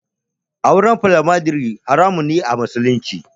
Auren Foliyandari haramun ne a musulunci.